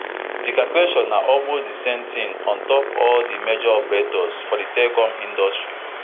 di calculation na almost di same tin on top all di major operators for di telecoms industry